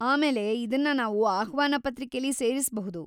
ಆಮೇಲೆ ಇದನ್ನ ನಾವು ಆಹ್ವಾನ ಪತ್ರಿಕೆಲಿ ಸೇರಿಸ್ಬಹುದು.